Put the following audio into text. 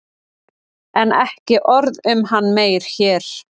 En ekki orð um hann meir hér.